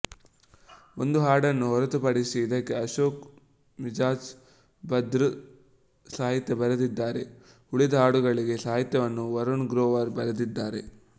ಒಂದು ಹಾಡನ್ನು ಹೊರತುಪಡಿಸಿ ಇದಕ್ಕೆ ಅಶೋಕ್ ಮಿಜ಼ಾಜ್ ಬದ್ರ್ ಸಾಹಿತ್ಯ ಬರೆದಿದ್ದಾರೆ ಉಳಿದ ಹಾಡುಗಳಿಗೆ ಸಾಹಿತ್ಯವನ್ನು ವರುಣ್ ಗ್ರೋವರ್ ಬರೆದಿದ್ದಾರೆ